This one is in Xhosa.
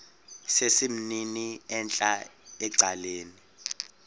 sesimnini entla ecaleni